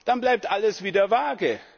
dann bleibt alles wieder vage.